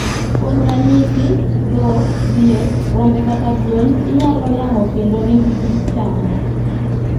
Kuom ranyisi: dhok, diek, rombe kata gwen inyalo yang'o kendo ringgi ichamo